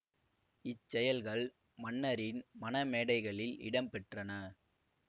இச்செயல்கள் மன்னரின் மணமேடைகளில் இடம் பெற்றன